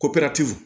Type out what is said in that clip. Ko